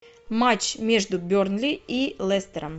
матч между бернли и лестером